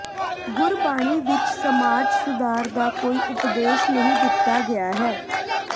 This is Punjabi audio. ਗੁਰਬਾਣੀ ਵਿੱਚ ਸਮਾਜ ਸੁਧਾਰ ਦਾ ਕੋਈ ਉਪਦੇਸ਼ ਨਹੀਂ ਦਿੱਤਾ ਗਿਆ ਹੈ